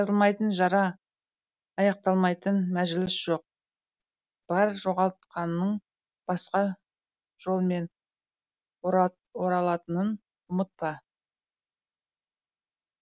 жазылмайтын жара аяқталмайтын мәжіліс жоқ бар жоғалтқаның басқа жолмен оралатынын ұмытпа